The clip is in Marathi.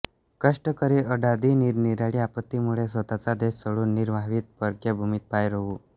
कष्टकरी ओढाधी निरनिराळ्या आपत्तीमुळे स्वतःचा देश सोडून निरवाहीत परक्या भूमीत पाय रोऊ